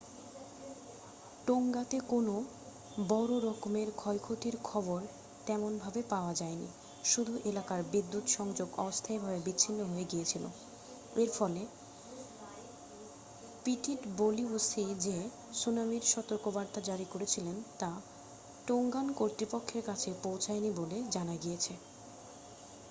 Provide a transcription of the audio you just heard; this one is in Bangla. টোংগাতে কোনো বড়্ররকমের ক্ষয়ক্ষতির খবর তেমন ভাবে পাওয়া যায়নি শুধু এলাকার বিদ্যুৎ সংযোগ অস্থায়ী ভাবে বিচ্ছিন্ন হয়ে গিয়েছিল এর ফলে পিটিডবলিউসি যে সুনামির সতর্কবার্তা জারি করেছিল তা টোংগান কর্তৃপক্ষের কাছে পৌছয়নি বলে জানা গিয়েছে